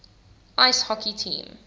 ice hockey team